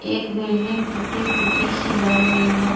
एक बिल्डिंग टूटी-फूटी सी लग रही है।